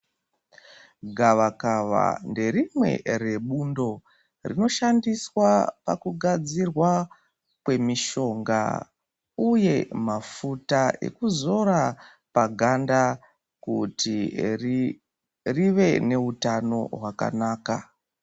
Gavakava nderimwe rebundo rinoshandiswa pakugadzirwa kwemishonga uye mafuta ekuzora paganda kuti rive neutano hwakanaka.